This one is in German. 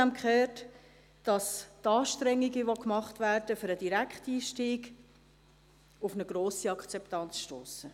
Zudem haben wir gehört, dass die Anstrengungen, die für den Direkteinstieg unternommen werden, auf eine grosse Akzeptanz stossen.